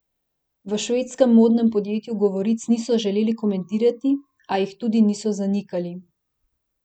V švedskem modnem podjetju govoric niso želeli komentirati, a jih tudi niso zanikali.